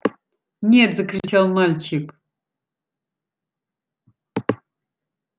нет закричал мальчик